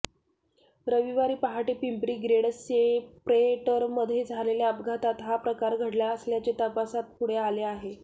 रविवारी पहाटे पिंपरी ग्रेड सेप्रेटरमध्ये झालेल्या अपघातात हा प्रकार घडला असल्याचे तपासात पुढे आले आहे